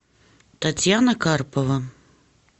татьяна карпова